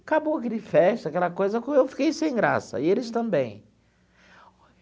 Acabou aquele festa, aquela coisa que eu fiquei sem graça, e eles também.